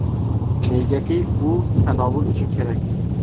Negaki u tanovul uchun kerak.